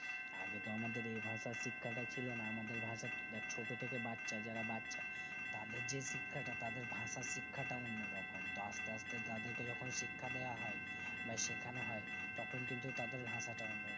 আগে তো আমাদের এই ভাষার শিক্ষাটা ছিলোনা আমাদের ভাষা দেখ ছোটথেকে বাচ্চা যারা বাচ্চা তাদের যে শিক্ষাটা তাদের ভাষার শিক্ষাটা কোনোরকম তো আস্তে আস্তে তাদেরকে যেকোন শিক্ষা দেয় হয় বা সেখান হয় তখন কিন্তু তাদের ভাষাটা অন্য